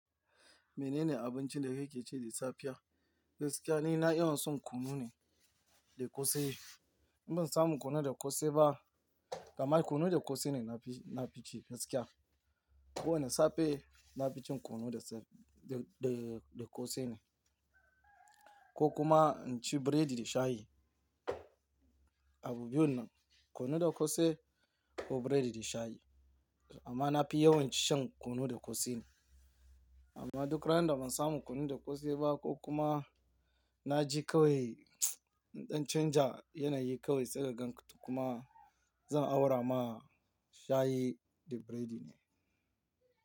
Menene abincin da kake ci da safiya? Gaskiya ni na yawan son kunu ne da ƙosai. In ban samu kunu da ƙosai ba, kaman kunu da ƙosai ne na fi, na fi ci gaskiya. Ko wane safe, na fi cin kunu da se-- da, da, da ƙosai ne. Ko kuma in ci biredi da shayi. Abu biyun nan, kunu da ƙosai ko biredi da shayi. Amma na fi yawan shan kunu da ƙosai ne. Amma duk ran da ban samu kunu da ƙosai ba ko kuma na je kawai ɗan canja yanayi kawai sai ka gan kuma zan aura ma shayi da biredi ne.